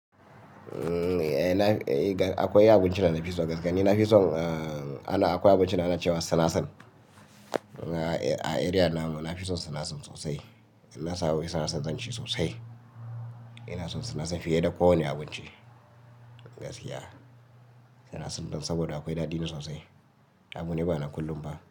Eh, akwai abincin da na fi so gaskiya. Na fi son, akwai abincin ana cewa sinasir. A area namu na fi son sinasir sosai. In na samu sinasir zan ci sosai. Ina son sinasir fiye da kowane abinci gaskiya. Sinasir ɗin saboda akwai daɗi na sosai. Amma dai ba na kullum ba.